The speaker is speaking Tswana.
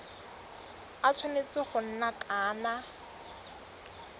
a tshwanetse go nna ka